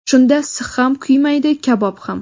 Shunda six ham kuymaydi, kabob ham.